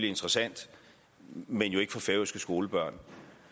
interessant men jo ikke for færøske skolebørn